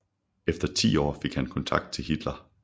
Efter ti år fik han kontakt til Hitler